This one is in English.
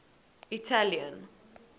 italian